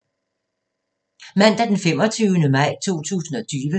Mandag d. 25. maj 2020